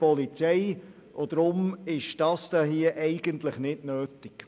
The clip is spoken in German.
Deswegen ist diese Regelung hier nicht nötig.